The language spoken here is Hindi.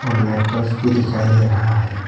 और लाइट बॉक्स भी दिखाई दे रहा है।